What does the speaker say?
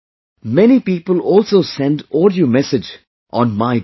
Many people also send audio message on MYGOV